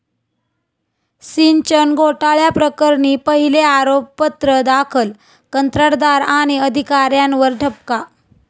सिंचन घोटाळ्याप्रकरणी पहिले आरोपपत्र दाखल, कंत्राटदार आणि अधिकाऱ्यांवर ठपका